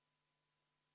V a h e a e g